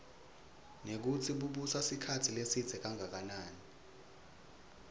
nekutsi bubusa sikhatsi lesidze kangakanani